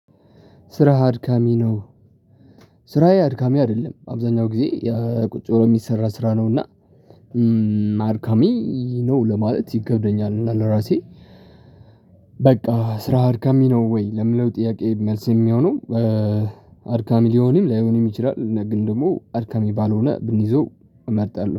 ስራህ አድካሚ ነው። ስራዬ አድካሚ አይደለም አብዛኛው ጊዜ ቁጭ ብሎ የሚሰራ ስራ ነው። እና አድካሚ ነው ለማለት ይከብደኛል። እና ለራሴ በቃ ስራህ አድካሚ ነው ወይ ለሚለው ጥያቄ መልስ የሚሆነው። አድካሚ ሊሆንም ላይሆንም ይችላል እና ግን ደግሞ አድካሚ ባልሆነ ብንይዘው እመርጣለሁ